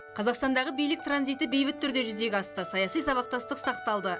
қазақстандағы билік транзиті бейбіт түрде жүзеге асты саяси сабақтастық сақталды